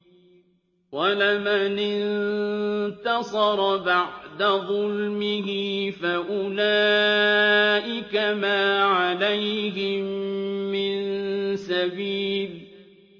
وَلَمَنِ انتَصَرَ بَعْدَ ظُلْمِهِ فَأُولَٰئِكَ مَا عَلَيْهِم مِّن سَبِيلٍ